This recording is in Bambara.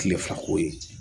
Tile fila ko ye